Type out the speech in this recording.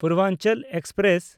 Purvanchal express